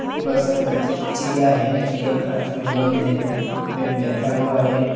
चिरिया है | चिरिया खाच में बंद है बैठा हुआ है।